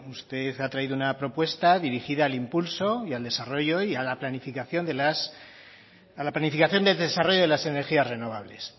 usted ha traído una propuesta dirigida al impulso y al desarrollo y a la planificación del desarrollo de las energías renovables